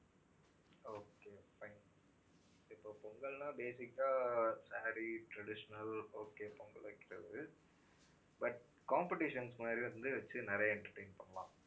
okay fine இப்போ பொங்கல்னா basic ஆ saree traditional okay பொங்கல் வைக்கிறது, but competitions மாதிரி வந்து வச்சு நிறைய entertain பண்ணலாம்